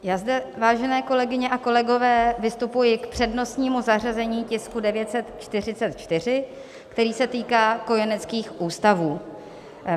Já zde, vážené kolegyně a kolegové, vystupuji k přednostnímu zařazení tisku 944, který se týká kojeneckých ústavů.